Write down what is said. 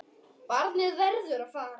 Barnið verður að fara.